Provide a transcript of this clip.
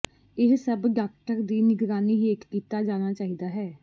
ਇਹ ਸਭ ਡਾਕਟਰ ਦੇ ਨਿਗਰਾਨੀ ਹੇਠ ਕੀਤਾ ਜਾਣਾ ਚਾਹੀਦਾ ਹੈ